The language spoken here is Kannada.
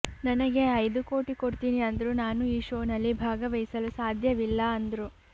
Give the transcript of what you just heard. ನನಗೆ ಐದು ಕೋಟಿ ಕೊಡ್ತೀನಿ ಅಂದ್ರೂ ನಾನು ಈ ಶೋನಲ್ಲಿ ಭಾಗವಹಿಸಲು ಸಾಧ್ಯವಿಲ್ಲ ಅಂದ್ರು